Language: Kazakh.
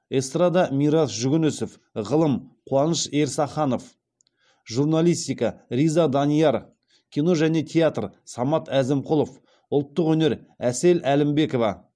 эстрада мирас жүгінісов ғылым қуаныш ерсаханов журналистика риза данияр кино және театр самат әзімқұлов ұлттық өнер әсел әлібекова